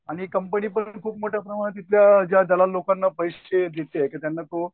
आणि कंपनी पण खूप मोठ्या प्रमाणावर ज्या दलाल लोकांना पैसे देतीये की त्यांना तो